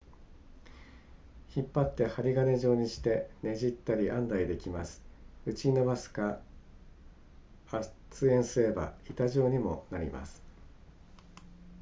引っ張って針金状にしてねじったり編んだりできます打ち伸ばすか圧延すれば板状にもなります